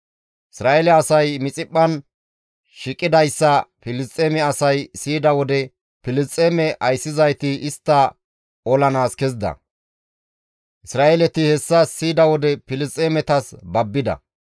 Isra7eele asay Mixiphphan shiiqidayssa Filisxeeme asay siyida wode, Filisxeeme ayssizayti istta olanaas kezida; Isra7eeleti hessa siyida wode Filisxeemetas babbida.